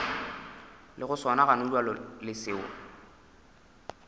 lego sona gonabjale le seo